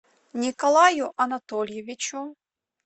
николаю анатольевичу